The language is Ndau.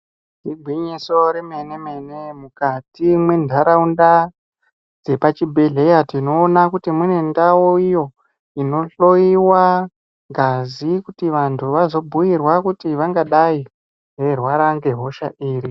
Igwinyiso remenemene mukati mwenharaunda dzepazvibhehleya tinoona kuti munendau iyo ino hloyiwa ngazi kuti vantu vazobhuyirwa kuti vangadai veirwara ngehosha iri.